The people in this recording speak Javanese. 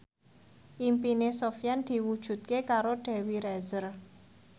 impine Sofyan diwujudke karo Dewi Rezer